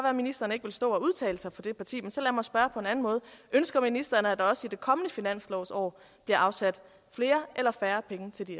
at ministeren ikke vil stå og udtale sig på det parti men så lad mig spørge på en anden måde ønsker ministeren at der også i det kommende finanslovsår bliver afsat flere eller færre penge til de